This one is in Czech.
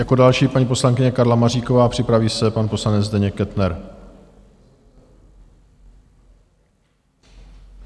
Jako další paní poslankyně Karla Maříková, připraví se pan poslanec Zdeněk Kettner.